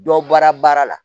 Dɔ bɔra baara la